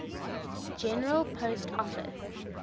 general post office